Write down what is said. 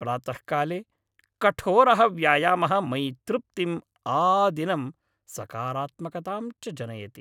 प्रातःकाले कठोरः व्यायामः मयि तृप्तिम्, आदिनं सकारात्मकतां च जनयति।